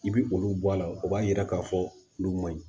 I bi olu bɔ a la o b'a yira k'a fɔ olu ma ɲi